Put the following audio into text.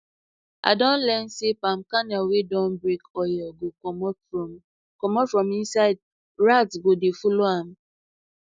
i don learn say palm kernel wey dun break oil go commot from commot from inside rats go dey follow am